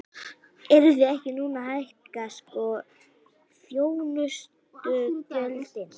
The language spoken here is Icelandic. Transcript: Eruð þið ekki núna að hækka sko þjónustugjöldin?